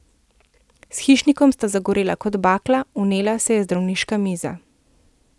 S Hišnikom sta zagorela kot bakla, vnela se je zdravniška miza.